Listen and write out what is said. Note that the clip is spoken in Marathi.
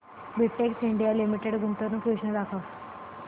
बेटेक्स इंडिया लिमिटेड गुंतवणूक योजना दाखव